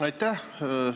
Aitäh!